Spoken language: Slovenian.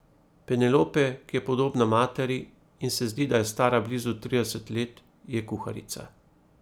Penelope, ki je podobna materi in se zdi, da je stara blizu trideset let, je kuharica.